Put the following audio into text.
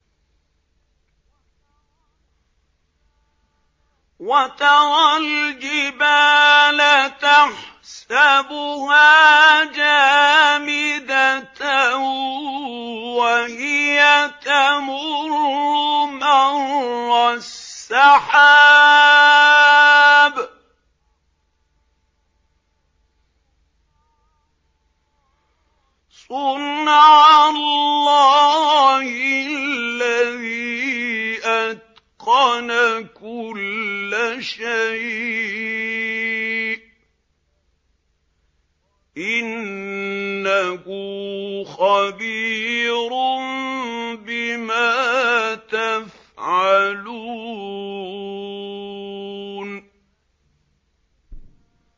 وَتَرَى الْجِبَالَ تَحْسَبُهَا جَامِدَةً وَهِيَ تَمُرُّ مَرَّ السَّحَابِ ۚ صُنْعَ اللَّهِ الَّذِي أَتْقَنَ كُلَّ شَيْءٍ ۚ إِنَّهُ خَبِيرٌ بِمَا تَفْعَلُونَ